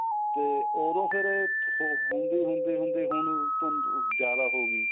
ਤੇ ਉਹਦੋ ਫੇਰ ਹੁੰਦੀ ਹੁੰਦੀ ਹੁੰਦੀ ਹੁਣ ਤੁਹਾਨੂੰ ਜਿਆਦਾ ਹੋ ਗਈ